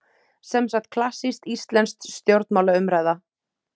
Semsagt klassísk íslensk stjórnmálaumræða.